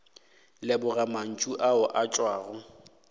leboga mantšu ao a tšwago